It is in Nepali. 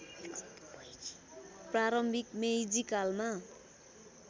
प्रारम्भिक मेइजी कालमा